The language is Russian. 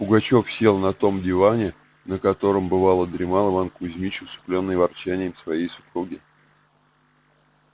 пугачёв сел на том диване на котором бывало дремал иван кузмич усыплённый ворчанием своей супруги